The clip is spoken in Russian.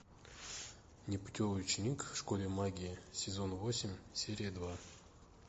непутевый ученик в школе магии сезон восемь серия два